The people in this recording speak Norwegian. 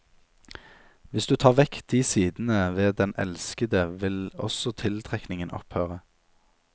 Hvis du tar vekk de sidene ved den elskede vil også tiltrekningen opphøre.